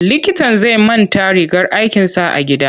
Likitan zai manta rigar aikinsa a gida.